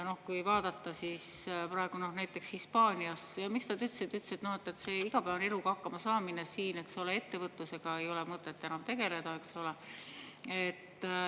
Kui vaadata praegu, miks nad kolivad Hispaaniasse, siis nad ütlesid, et see igapäevaeluga hakkama saamine siin – ettevõtlusega ei ole mõtet enam tegeleda, eks ole.